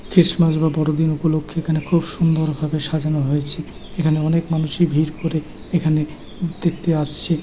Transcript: Christmas বা বড়দিন উপলক্ষে এখানে খুব সুন্দর ভাবে সাজানো হয়েছে | এখানে অনেক মানুষই ভিড় করে এখানে দেখতে আসছে ।